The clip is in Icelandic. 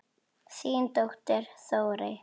Þín dóttir, Þórey.